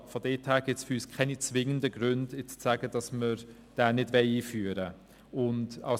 Daher gibt es für uns keine zwingenden Gründe, weswegen dieser Ausgleich nicht eingeführt werden sollte.